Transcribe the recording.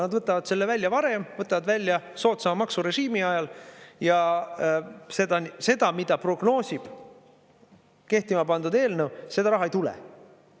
Nad võtavad selle välja varem, võtavad välja soodsama maksurežiimi ajal ja seda, mida prognoosib kehtima pandud eelnõu, seda raha ei tule.